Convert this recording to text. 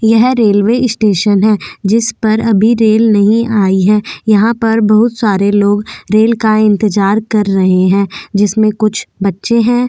यह railway station है जिस पर अभी रेल नहीं आई है यहां पर बहुत सारे लोग रेल का इंतजार कर रहे हैं जिसमें कुछ बच्चे हैं।